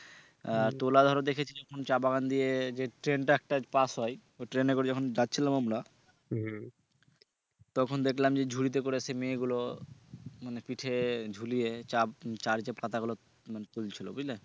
আহ তোলা ধরো দেখেছি যখন চা বাগান দিয়ে যে ট্রেন টা একটা পাস হয় ওই ট্রেনে করে যখন যাচ্ছিলাম আমরা হম তখন দেখলাম যে ঝুড়িতে করে সে মেয়েগুলো মানে পিঠে ঝুলিয়ে চা চা এর পাতাগুলো মানে তুলছিলো বুঝলে।